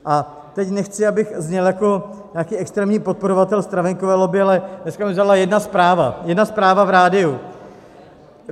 A teď nechci, abych zněl jako nějaký extrémní podporovatel stravenkové lobby, ale dneska mě zaujala jedna zpráva, jedna zpráva v rádiu.